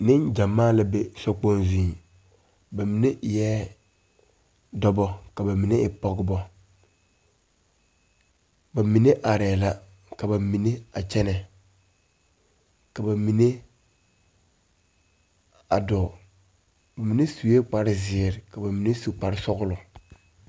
Neŋgyamaa la be so kpoŋ zuŋ ba mine eɛɛ dɔbɔ ka ba mine e pɔgebɔ ba mine arɛɛ la ka ba mine a kyɛnɛ ka ba mine a dɔɔ mine suee kparezeɛ ka ba mine su kparesɔglɔ.